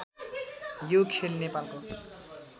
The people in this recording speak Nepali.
यो खेल नेपालको